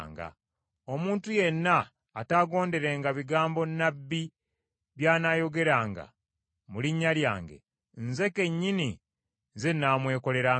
Omuntu yenna ataagonderenga bigambo Nnabbi by’anaayogeranga mu linnya lyange, Nze kennyini, Nze nnaamwekolerangako.